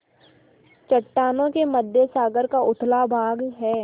चट्टानों के मध्य सागर का उथला भाग है